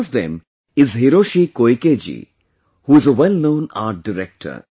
One of them is Hiroshi Koike ji, who is a wellknown Art Director